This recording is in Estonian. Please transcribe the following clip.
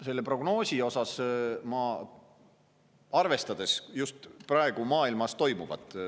Selle prognoosi puhul peab arvestama just praegu maailmas toimuvat.